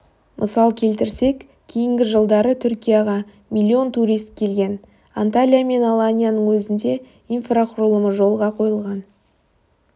мысал келтірсек кейінгі жылдары түркияға миллион турист келген анталия мен аланияның өзінде инфрақұрылымы жолға қойылған